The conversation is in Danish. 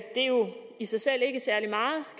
i sig selv ikke særlig meget